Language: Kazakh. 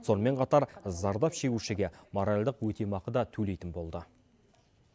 сонымен қатар зардап шегушіге моральдық өтемақы да төлейтін болды